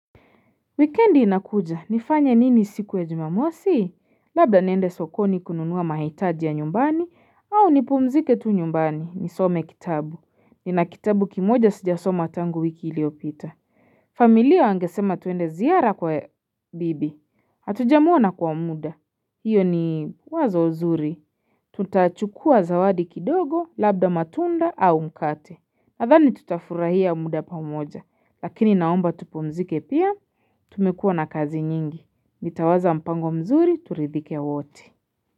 Wikendi inakuja, nifanye nini siku ya jumamosi? Labda niende sokoni kununua mahitaji ya nyumbani, au nipumzike tu nyumbani, nisome kitabu. Nina kitabu kimoja sijasoma tangu wiki iliyopita. Familia wangesema tuende ziara kwa bibi. Hatujamuona kwa muda. Iyo ni wazo nzuri. Tutachukua zawadi kidogo, labda matunda au mkate. Nadhani tutafurahia muda pamoja, lakini naomba tupumzike pia, tumekuwa na kazi nyingi. Nitawaza mpango mzuri, turidhike wote.